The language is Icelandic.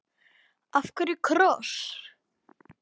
Af hverju kross?